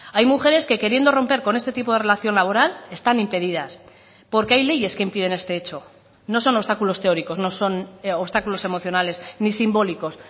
hay mujeres que queriendo romper con este tipo de relación laboral están impedidas porque hay leyes que impiden este hecho no son obstáculos teóricos no son obstáculos emocionales ni simbólicos